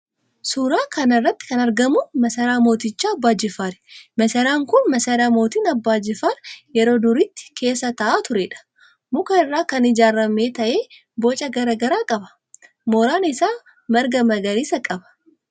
Suuraa kana irratti kan argamu masaraa mooticha Abbaa Jifaari. Masaraan kun masaraa mootiin Abbaa Jifaar yeroo duriitti keessa taa'aa tureedha. Muka irraa kan ijaarame ta'ee boca garaagaraa qaba. Mooraan isaa marga magariisa qaba.